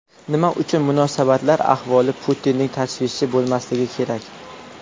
Nima uchun munosabatlar ahvoli Putinning tashvishi bo‘lmasligi kerak?